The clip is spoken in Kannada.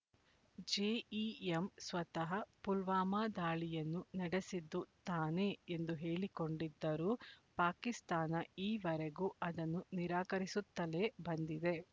ಜೆಇಎಂ ಸ್ವತಃ ಪುಲ್ವಾಮಾ ದಾಳಿಯನ್ನು ನಡೆಸಿದ್ದು ತಾನೇ ಎಂದು ಹೇಳಿಕೊಂಡಿದ್ದರೂ ಪಾಕಿಸ್ತಾನ ಈವರೆಗೂ ಅದನ್ನು ನಿರಾಕರಿಸುತ್ತಲೇ ಬಂದಿದೆ